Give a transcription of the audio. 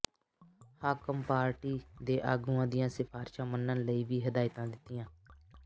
ਹਾਕਮ party ਦੇ ਆਗੂਆਂ ਦੀਆਂ ਸਿਫਾਰਿਸ਼ਾਂ ਮੰਨਣ ਲਈ ਵੀ ਹਦਾਇਤਾਂ ਦਿੱਤੀਆਂ